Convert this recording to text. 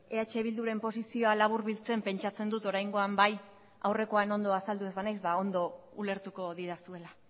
eh bilduren posizioa laburbiltzen pentsatzen dut oraingoan bai aurrekoan ondo azaldu ez banaiz ba ondo ulertuko didazuela